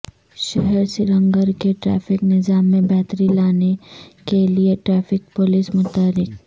شہر سرینگر کے ٹریفک نظام میں بہتری لانے کیلئے ٹریفک پولیس متحرک